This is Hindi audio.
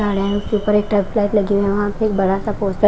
उसके ऊपर एक लाइट लगी है वहां पे एक बड़ा सा पोस्टर --